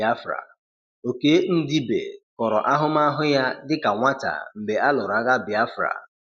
Biafra: Okey Ndibe kọrọ ahụmahụ ya dịka nwata mgbe a lụrụ agha Biafra.